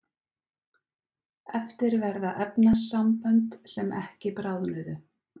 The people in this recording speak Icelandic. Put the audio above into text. eftir verða efnasambönd sem ekki bráðnuðu